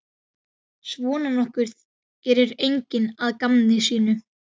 Svona nokkuð gerir enginn að gamni sínu.